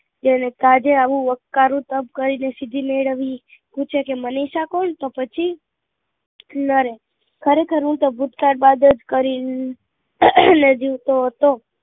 જેની કાજે આવું વક્કારું તપ કરી ને સિદ્ધી મેળવી પૂછે કે મનીષા કોણ તો પછી નરેન ખરેખર હું તો ભૂતકાળ બાદ જ કરી અને જીવતો હતો